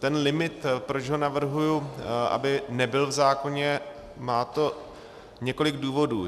Ten limit, proč ho navrhuji, aby nebyl v zákoně, má to několik důvodů.